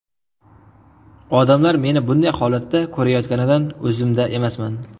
Odamlar meni bunday holatda ko‘rayotganidan o‘zimda emasman.